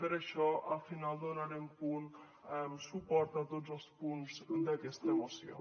per això al final donarem suport a tots els punts d’aquesta moció